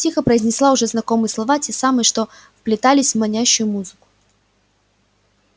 тихо произнесла уже знакомые слова те самые что вплетались в манящую музыку